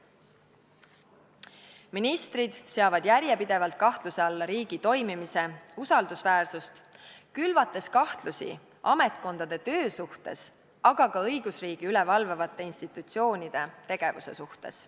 Ministrid seavad järjepidevalt kahtluse alla riigi toimimise usaldusväärsust, külvates kahtlusi ametkondade töö suhtes, aga ka õigusriigi üle valvavate instutsioonide tegevuse suhtes.